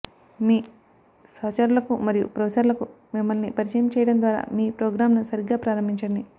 మీ సహచరులకు మరియు ప్రొఫెసర్లకు మిమ్మల్ని పరిచయం చేయడం ద్వారా మీ ప్రోగ్రామ్ను సరిగ్గా ప్రారంభించండి